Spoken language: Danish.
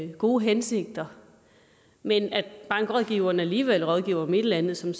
gode hensigter men bankrådgiveren alligevel rådgiver om et eller andet som